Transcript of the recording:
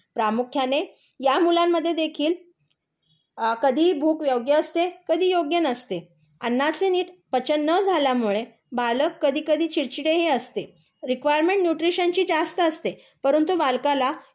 प्रामुख्याने या मुलांमध्ये देखील कधी भूक योग्य असते कधी योग्य नसते. अन्नाचे एनआयटी पचन न झाल्याने बालक कधी कधी चिडचिडे ही असते. रिकवायरमेंट न्यूट्रिशनची जास्त असते. परंतु बालकाला